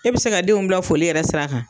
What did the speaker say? E bɛ se ka denw bila foli yɛrɛ sira kan.